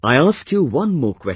I ask you one more question